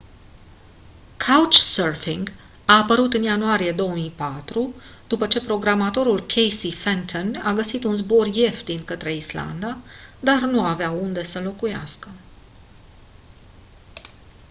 couchsurfing a apărut în ianuarie 2004 după ce programatorul casey fenton a găsit un zbor ieftin către islanda dar nu avea unde să locuiască